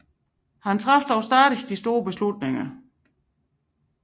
Han traf dog stadig de store beslutninger